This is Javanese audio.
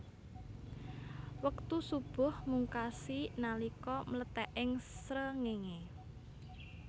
Wektu shubuh mungkasi nalika mlethèking srengéngé